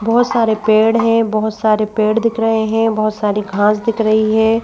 बहुत सारे पेड़ हैं बहुत सारे पेड़ दिख रहे हैं बहुत सारी घास दिख रही है।